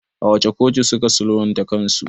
A wace kotu suka sulhunta kansu?